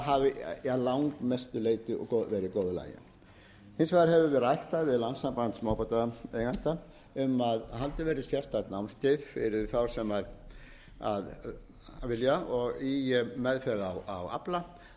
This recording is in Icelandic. hafi að langmestu leyti verið í góðu lagi hins vegar höfum við rætt það við landssamband smábátaeigenda um að haldið verði sérstakt námskeið fyrir þá sem vilja og í meðferð á afla þannig